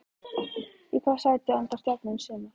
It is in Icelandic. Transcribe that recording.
Í hvaða sæti endar Stjarnan í sumar?